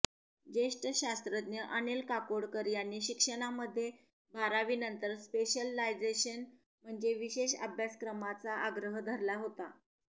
ज्येष्ठ शास्रज्ञ अनिल काकोडकर यांनी शिक्षणामध्ये बारावीनंतर स्पेशलायझेशन म्हणजे विशेष अभ्यासक्रमांचा आग्रह धरला होता